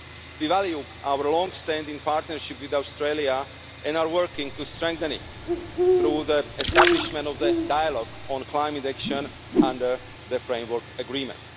We value our long standing partnership with Australia and are working to strengthen it through the establishment of the Dialogue on Climate Action under the Framework Agreement.